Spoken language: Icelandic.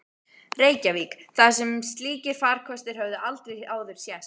Reykjavík, þar sem slíkir farkostir höfðu aldrei áður sést.